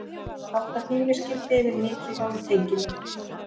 Halda hlífiskildi yfir mikilvægum tengilið